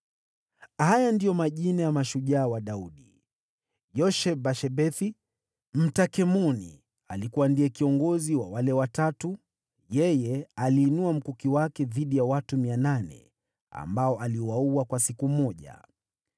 Haya ndiyo majina ya mashujaa wa Daudi: Yosheb-Bashebethi, Mtahkemoni, alikuwa kiongozi wa wale Watatu; yeye aliinua mkuki wake dhidi ya watu 800, ambao aliwaua katika pambano moja.